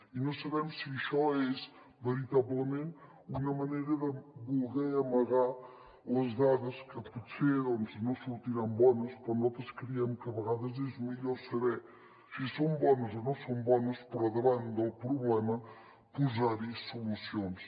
i no sabem si això és veritablement una manera de voler amagar les dades que potser no sortiran bones però nosaltres creiem que a vegades és millor saber si són bones o no són bones però davant del problema posar hi solucions